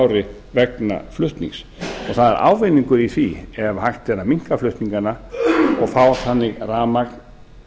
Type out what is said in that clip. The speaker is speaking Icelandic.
ári vegna flutnings og það er ávinningur í því ef hægt er að minnka flutningana og fá þannig rafmagn